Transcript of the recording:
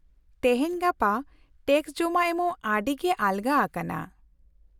-ᱛᱮᱦᱮᱧ ᱜᱟᱯᱟ ᱴᱮᱠᱥ ᱡᱚᱢᱟ ᱮᱢᱚᱜ ᱟᱹᱰᱤᱜᱮ ᱟᱞᱜᱟ ᱟᱠᱟᱱᱟ ᱾